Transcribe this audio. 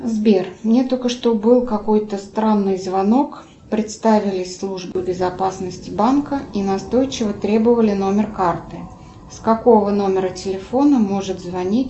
сбер мне только что был какой то странный звонок представились службой безопасности банка и настойчиво требовали номер карты с какого номера телефона может звонить